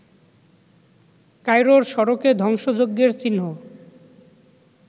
কায়রোর সড়কে ধ্বংসযজ্ঞের চিহ্ন